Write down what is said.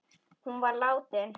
Hún var látin.